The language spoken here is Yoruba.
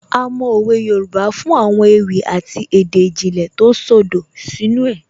A mọ òwe Yorùbá fún àwọn ewì àti èdè ìjìnlẹ̀ tó ṣodo sínú ẹ̀